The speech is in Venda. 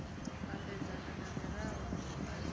ambedzana na mirao mihulwane ya